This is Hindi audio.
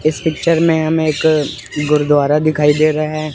इस पिक्चर में हम एक गुरुद्वारा दिखाई दे रहे हैं।